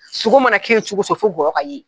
Sogo mana kɛ yen cogo o cogo fo gɔyɔ ka ye.